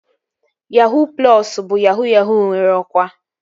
Yahuu plọsu bụ yahuu yahuu nwere ọkwa